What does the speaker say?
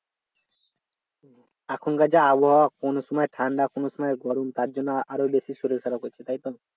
এখনকার যা আবহাওয়া কোন সময় ঠান্ডা কোন সময় গরম তার জন্য আরও বেশি করে শরীর খারাপ হচ্ছে তাই তো?